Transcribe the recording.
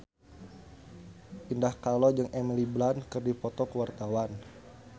Indah Kalalo jeung Emily Blunt keur dipoto ku wartawan